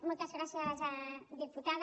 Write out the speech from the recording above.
moltes gràcies diputada